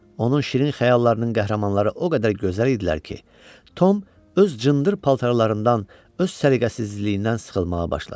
Onun şirin xəyallarının qəhrəmanları o qədər gözəl idilər ki, Tom öz cındır paltarlarından, öz səliqəsizliyindən sıxılmağa başladı.